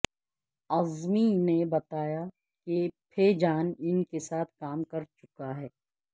اعظمی نے بتایا کہ پھےجان ان کے ساتھ کام کر چکا ہے